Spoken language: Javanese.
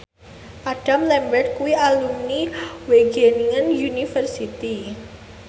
Adam Lambert kuwi alumni Wageningen University